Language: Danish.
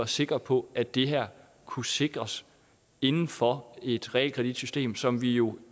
sikre på at det her kunne sikres inden for et realkreditsystem som vi jo